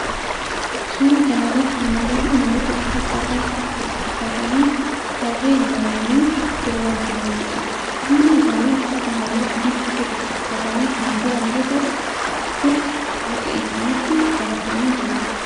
Suuraa kana irratti kan agarru namoota uffata aadaa saba oromoo uffatanii tarree galanii sirbaa jiranidha. Hundi isaanii uffata halluu adii gosa tokkoo uffatanii kan jiran yoo ta'u bokkuu harka isaanitti qabatanii jiru.